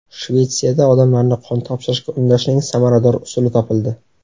Shvetsiyada odamlarni qon topshirishga undashning samarador usuli topildi.